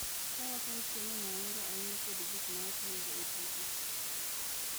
Ka wakawo chiemo ma wahero ahinya kod gik ma watiyogo e tuke.